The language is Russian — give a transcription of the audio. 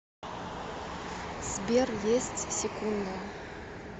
сбер есть секунда